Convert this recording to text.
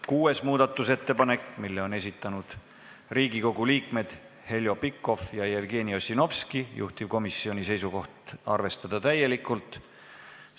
Kuuenda muudatusettepaneku on esitanud Riigikogu liikmed Heljo Pikhof ja Jevgeni Ossinovski, juhtivkomisjoni seisukoht: arvestada seda täielikult.